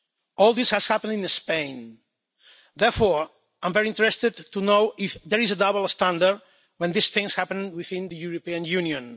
All this has happened in Spain, and therefore I am very interested to know if there is a double standard when these things happen within the European Union.